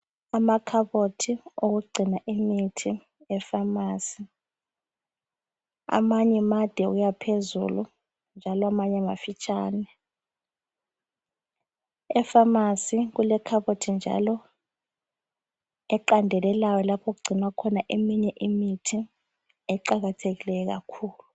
Amakhabothi okugcina imithi efamasi . Amanye made ukuyaohezulu njalo amanye mafitshane. Efamasi kulekhabothi njalo eqandelelayo lapho okugcinwa khona eminye imithi eqakathekileyo kakhulu.